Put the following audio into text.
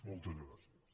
moltes gràcies